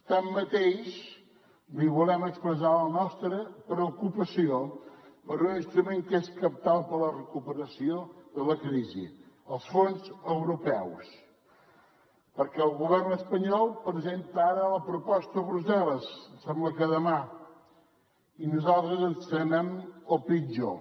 tanmateix li volem expressar la nostra preocupació per un instrument que és cabdal per a la recuperació de la crisi els fons europeus perquè el govern espanyol presenta ara la proposta a brussel·les em sembla que demà i nosaltres ens temem el pitjor